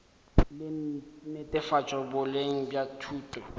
la netefatšo boleng bja thuto